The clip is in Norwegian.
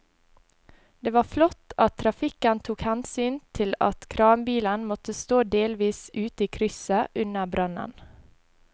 Det var flott at trafikken tok hensyn til at kranbilen måtte stå delvis ute i krysset under brannen.